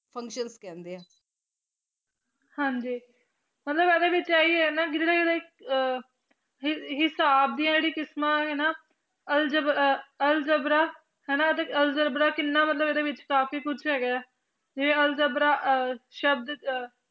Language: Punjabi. ਮਤਲਬ ਏਡੇ ਵਿਚ ਯਹੀ ਆ ਜਾਂਦਾ ਗੀਲੀ ਵਿਚ ਆ ਯਹੀ ਹਿਸਾਬ ਦੀਆ ਕਿਸਮ ਹੀ ਨਾ ਅਲ੍ਜਾਬੇਰ ਆ ਅਲਜਬਰਾ ਹਾਨਾ ਅਲਜਬਰਾ ਕੀਨਾ ਮਤਲਬ ਏਡੀ ਵਿਚ ਕਾਫੀ ਕੁਛ ਹੀ ਗਾ ਜੇਯਰਾ ਅਲਜਬਰਾ ਆ ਸ਼ਾਬਤ